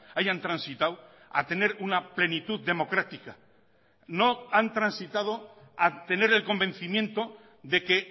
hayan transitado a tener una plenitud democrática no han transitado a tener el convencimiento de que